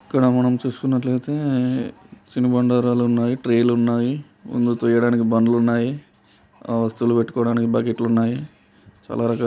ఇక్కడ మనం చుసుకున్నట్లైతే తిను బండారాలు ఉన్నాయి. ట్రేలు న్నాయి. ముందుకి తియ్యడానికి బండ్లున్నాయి. ఆ వస్తువులు పెట్టుకోవడానికి బకెట్లు ఊన్నాయి . చాలా రకాలు--